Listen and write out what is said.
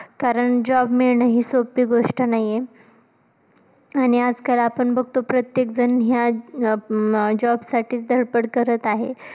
कारण job मिळणं हि सोप्पी गोष्ट नाहीये आणि आजकाल आपण बघतो प्रत्येक जण या अं job साठीचं धडपड करत आहे.